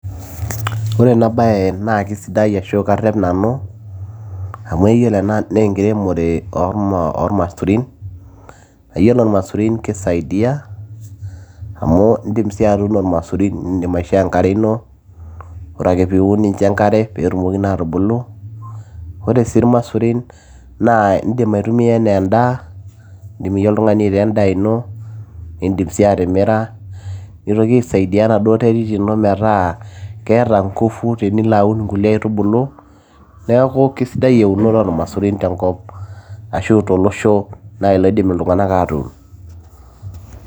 ore ena baye naa kisidai ashu karrep nanu amu yiolo ena naa enkiremore ormasurin, yiolo irmasurin kisaidiyia amu indim sii atuuno irmasurin nindim aishoo enkare ino ore ake piun nincho enkare peetumoki naa atubulu ore sii irmasurin naa indim aitumia enaa endaa indim iyie oltung'ani aitaa endaa ino nindim sii atimira nitoki aisaidia enaduo terit ino metaa keeta ngufu tenilo aun nkulie aitubulu neeku kisidai eunore ormasurin tenkop ashu tolosho naaji loidim iltung'anak atuun.